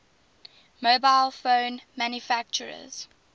mobile phone manufacturers